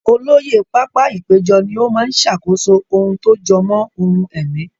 Olóyè pápá-ìpéjọ ni ó máa ṣàkóso ohun tó jọ mọ́ ohun ẹ̀mí.